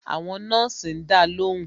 Àwọn nọ́ọ̀sì ń dá lóhùn